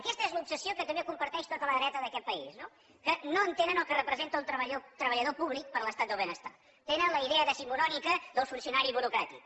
aquesta és l’obsessió que també comparteix tota la dreta d’aquest país no que no entenen el que representa el treballador públic per a l’estat del benestar tenen la idea decimonònica del funcionari burocràtic